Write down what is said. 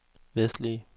vestlige